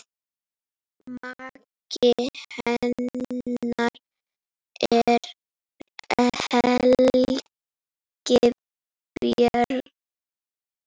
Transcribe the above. Maki hennar er Helgi Björn.